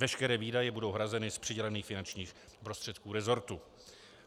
Veškeré výdaje budou hrazeny z přidělených finančních prostředků resortu.